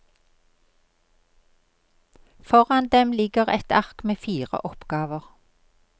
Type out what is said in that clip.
Foran dem ligger et ark med fire oppgaver.